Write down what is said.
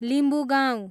Limbugaun